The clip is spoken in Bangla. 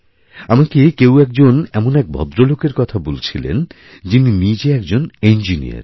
আমাকে কেউ একজন এমন এক ভদ্রলোকের কথাবলছিলেন যিনি নিজে একজন ইঞ্জিনীয়র